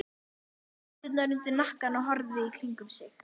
Hann setti hendurnar undir hnakkann og horfði í kringum sig.